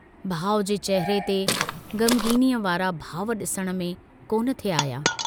भाउ जे चेहरे ते ग़मग़ीनीअ वारा भाव डिसण में कोन थे आहिया।